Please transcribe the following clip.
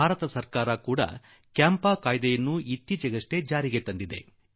ಭಾರತ ಸರ್ಕಾರ ಕೂಡಾ ಅಂಒPಂ ಕಾಯಿದೆಯನ್ನು ಇದೀಗ ಅಂಗೀಕರಿಸಿದೆ